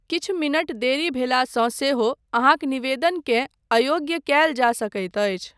किछु मिनट देरी भेलासँ सेहो अहाँँक निवेदनकेँ अयोग्य कयल जा सकैत अछि।